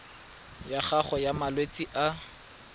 ya gago ya malwetse a